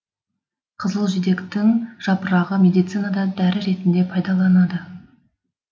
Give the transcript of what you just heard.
қызылжидектің жапырағы медицинада дәрі етінде пайдаланады